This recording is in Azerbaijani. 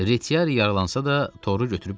Retiari yaralansa da toru götürüb qaçdı.